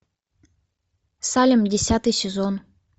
салем десятый сезон